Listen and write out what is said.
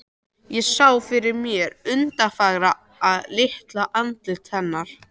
Ég sá fyrir mér undurfagra, litla andlitið hennar.